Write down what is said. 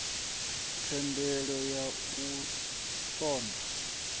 thendelo ya u ṱun ḓa